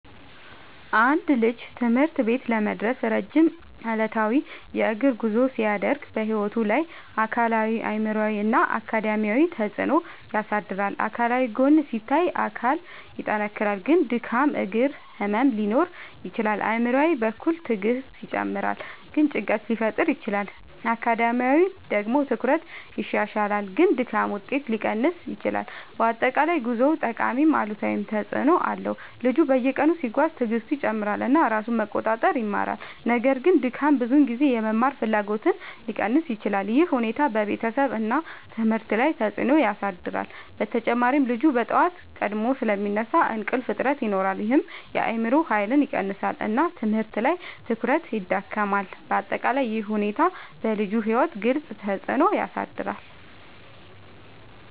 አንድ ልጅ ትምህርት ቤት ለመድረስ ረጅም ዕለታዊ የእግር ጉዞ ሲያደርግ በሕይወቱ ላይ አካላዊ አእምሯዊ እና አካዳሚያዊ ተፅዕኖ ያሳድራል። አካላዊ ጎን ሲታይ አካል ይጠናከራል ግን ድካም እግር ህመም ሊኖር ይችላል። አእምሯዊ በኩል ትዕግስት ይጨምራል ግን ጭንቀት ሊፈጠር ይችላል። አካዳሚያዊ ደግሞ ትኩረት ይሻሻላል ግን ድካም ውጤት ሊቀንስ ይችላል። በአጠቃላይ ጉዞው ጠቃሚም አሉታዊም ተፅዕኖ አለው። ልጁ በየቀኑ ሲጓዝ ትዕግስቱ ይጨምራል እና ራሱን መቆጣጠር ይማራል። ነገር ግን ድካም ብዙ ጊዜ የመማር ፍላጎትን ሊቀንስ ይችላል። ይህ ሁኔታ በቤተሰብ እና ትምህርት ላይ ተጽዕኖ ያሳድራል። በተጨማሪ ልጁ በጠዋት ቀድሞ ስለሚነሳ እንቅልፍ እጥረት ይኖራል ይህም የአእምሮ ኃይልን ይቀንሳል እና ትምህርት ላይ ትኩረት ይዳክማል። በአጠቃላይ ይህ ሁኔታ በልጁ ሕይወት ግልጽ ተፅዕኖ ያሳድራል።